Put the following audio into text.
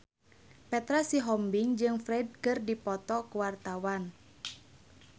Petra Sihombing jeung Ferdge keur dipoto ku wartawan